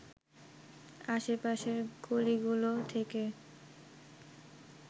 আশে পাশের গলিগুলো থেকে